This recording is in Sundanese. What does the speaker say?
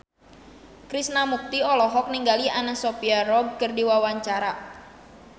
Krishna Mukti olohok ningali Anna Sophia Robb keur diwawancara